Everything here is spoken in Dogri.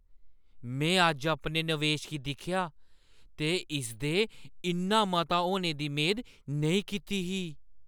में अज्ज अपने नवेश गी दिक्खेआ ते इसदे इन्ना मता होने दी मेद नेईं कीती ही।